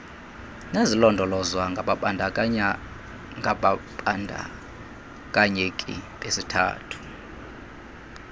nezilondolozwa ngababandakanyeki besithathu